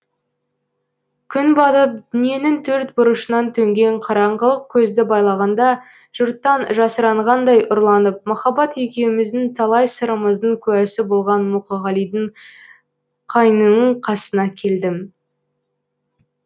күн батып дүниенің төрт бұрышынан төнген қараңғылық көзді байлағанда жұрттан жасырынғандай ұрланып махаббат екеуміздің талай сырымыздың куәсі болған мұқағалидың қайыңының қасына келдім